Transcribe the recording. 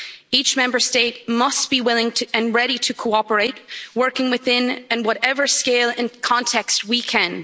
Each Member State must be willing to, and ready to, cooperate working within and whatever scale and context we can.